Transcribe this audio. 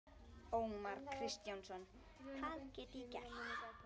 Ómar Kristjánsson: Hvað get ég gert?